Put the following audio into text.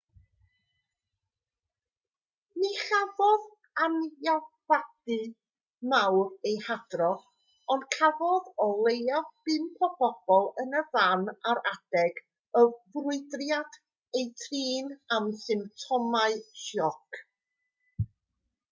ni chafodd anafiadau mawr eu hadrodd ond cafodd o leiaf pump o bobl yn y fan ar adeg y ffrwydriad eu trin am symptomau sioc